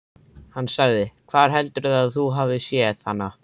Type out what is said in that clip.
Hann sagði: Hvar heldurðu að þú hafir séð hana?